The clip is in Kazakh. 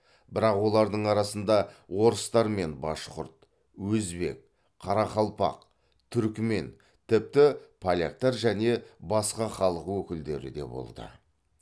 бірақ олардың арасында орыстар мен башқұрт өзбек қарақалпақ түрікмен тіпті поляктар және басқа халық өкілдері де болды